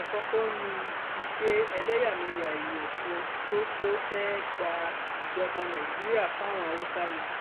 àkọkọ ní ti pé ẹlẹyàmẹyà èèyàn kan tó tó fẹẹ gba ìjọba nàìjíríà fáwọn haúsá ni